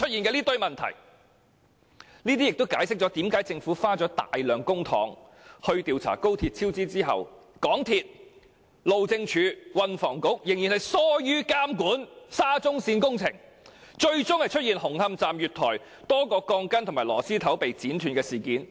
這亦解釋了為何政府花費大量公帑調查高鐵超支後，港鐵公司、路政署和運輸及房屋局仍然疏於監管沙中線工程，最終出現了紅磡站月台多條鋼筋和螺絲頭被剪斷的事件。